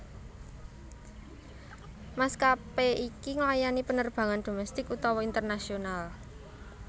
Maskapé iki nglayani penerbangan domestik utawa internasional